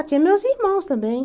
Ah, tinha meus irmãos também.